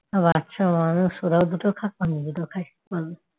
বাচ্চা মানুষ ওরা ওরা দুটো খাক আমিও দুটো খাই থাক